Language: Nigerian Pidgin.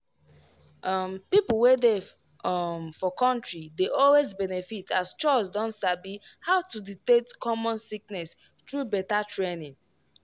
um people wey dey um for country dey always benefit as chws don sabi how to detect common sickness through better training.